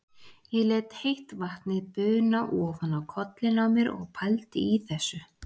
Ég lét heitt vatnið buna ofan á kollinn á mér og pældi í þessu.